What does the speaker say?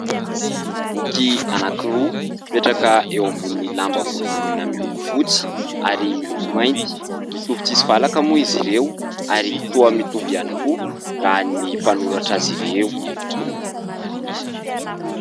Boky anankiroa mipetraka eo ambony ny lamba volovoloina miloko fotsy ary miloko mainty. Mitovy tsy misy valaka moa izy ireo ary toa mitovy ihany koa raha ny mpanoratra azy ireo.